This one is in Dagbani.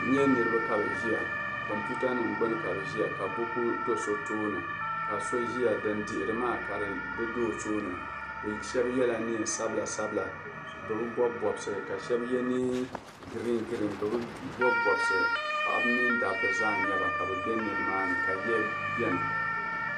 N nyɛ niraba ka bi ʒiya kompiuta nim gbuni ka bi ʒiya ka buku do so tooni ka so ʒiya din dihiri maa ka di ʒɛ o tooni bi shab yɛla neen sabila sabila bi bi bob bobsi ka shab yɛ neen giriin giriin bi bi bob bobsi paɣaba mini dabba zaa n nyɛba ka bi bɛ nimaani ka yiya biɛni